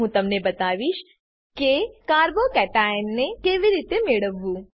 હું તમને બતાવીશ કે carbo કેશન ને કેવી રીતે મેળવવું